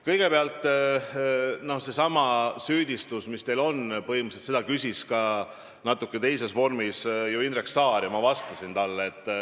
Kõigepealt, see süüdistus, mis teil on, põhimõtteliselt kõlas natuke teises vormis ka Indrek Saare küsimuses ja ma vastasin talle.